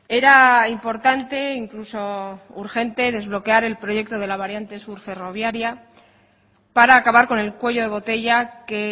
era importante incluso urgente desbloquear el proyecto de la variante sur ferroviaria para acabar con el cuello de botella que